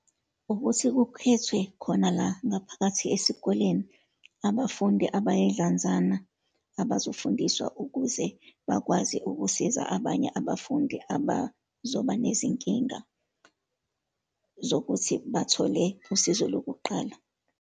Ukuthi kukhethwe khona la ngaphakathi esikoleni abafundi abayidlanzana, abazofundiswa ukuze bakwazi ukusiza abanye abafundi abazoba nezinkinga zokuthi bathole usizo lokuqala.